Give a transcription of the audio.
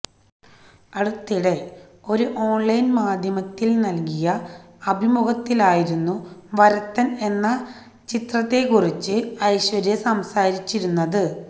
അടുത്തിടെ ഒരു ഓണ്ലൈന് മാധ്യമത്തിന് നല്കിയ അഭിമുഖത്തിലായിരുന്നു വരത്തന് എന്ന ചിത്രത്തെക്കുറിച്ച് ഐശ്വര്യ സംസാരിച്ചിരുന്നത്